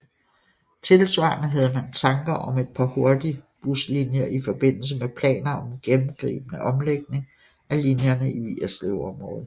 Tilsvarende havde man tanker om et par hurtigbuslinjer i forbindelse med planer om en gennemgribende omlægning af linjerne i Vigerslevområdet